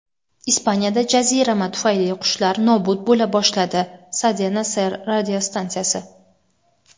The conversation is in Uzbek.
Ispaniyada jazirama tufayli qushlar nobud bo‘la boshladi – "Cadena Ser" radiostansiyasi.